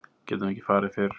Við getum ekki farið fyrr.